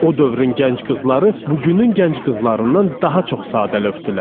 O dövrün gənc qızları bugünün gənc qızlarından daha çox sadəlövdülər.